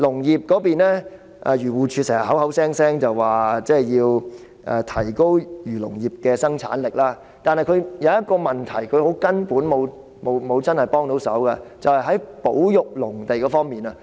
漁護署經常聲稱要提高漁農業的生產力，但署方沒有真正解決一個根本問題，就是保育農地。